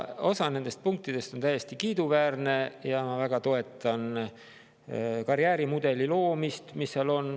Osa nendest punktidest on täiesti kiiduväärsed, ma näiteks väga toetan karjäärimudeli loomist, mis seal on.